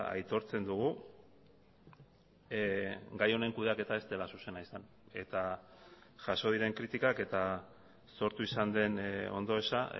aitortzen dugu gai honen kudeaketa ez dela zuzena izan eta jaso diren kritikak eta sortu izan den ondoeza